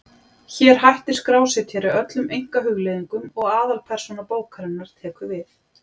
Hér hættir skrásetjari öllum einkahugleiðingum og aðalpersóna bókarinnar tekur við.